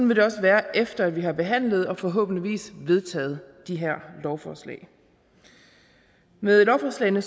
vil det også være efter at vi har behandlet og forhåbentlig vedtaget de her lovforslag med lovforslagene